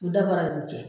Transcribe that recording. U dafara b'u cɛ